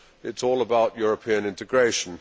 It is all about European integration.